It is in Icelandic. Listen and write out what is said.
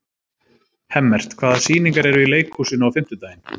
Hemmert, hvaða sýningar eru í leikhúsinu á fimmtudaginn?